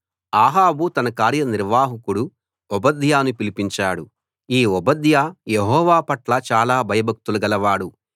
అహాబు తన కార్యనిర్వాహకుడు ఓబద్యాను పిలిపించాడు ఈ ఓబద్యా యెహోవా పట్ల చాలా భయభక్తులు గలవాడు